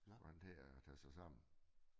Så skulle han til at tage sig sammen